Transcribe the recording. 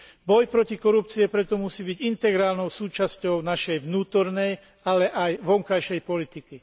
Boj proti korupcii preto musí byť integrálnou súčasťou našej vnútornej, ale aj vonkajšej politiky.